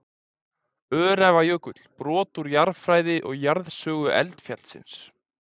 Öræfajökull, brot úr jarðfræði og jarðsögu eldfjallsins.